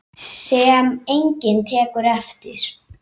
Sem enginn tekur eftir.